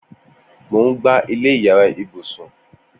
Mó n gbá ilẹ iyàrá ibùsùn